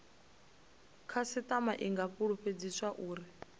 khasitama i nga fulufhedziswa uri